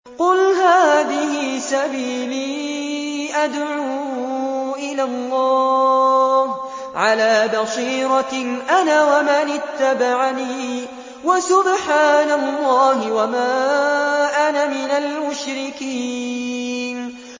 قُلْ هَٰذِهِ سَبِيلِي أَدْعُو إِلَى اللَّهِ ۚ عَلَىٰ بَصِيرَةٍ أَنَا وَمَنِ اتَّبَعَنِي ۖ وَسُبْحَانَ اللَّهِ وَمَا أَنَا مِنَ الْمُشْرِكِينَ